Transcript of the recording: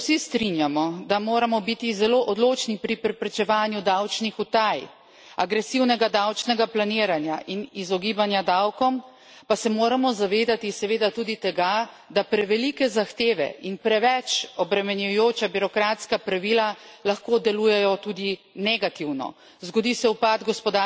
Kljub temu, da se vsi strinjamo, da moramo biti zelo odločni pri preprečevanju davčnih utaj, agresivnega davčnega planiranja in izogibanja davkom, pa se moramo zavedati seveda tudi tega, da prevelike zahteve in preveč obremenjujoča birokratska pravila lahko delujejo tudi negativno.